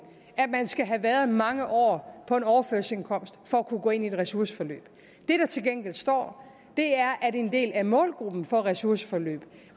at man skal have været mange år på overførselsindkomst for at kunne gå ind i et ressourceforløb det der til gengæld står er at en del af målgruppen for et ressourceforløb